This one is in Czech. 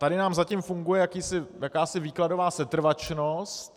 Tady nám zatím funguje jakási výkladová setrvačnost.